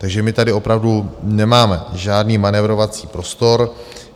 Takže my tady opravdu nemáme žádný manévrovací prostor.